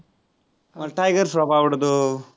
मला टायगर श्रॉफ आवडतो.